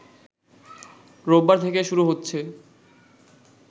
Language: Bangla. রোববার থেকে শুরু হচ্ছে